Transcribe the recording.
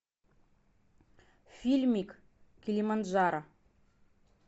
фильмик килиманджаро